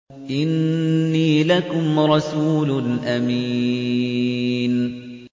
إِنِّي لَكُمْ رَسُولٌ أَمِينٌ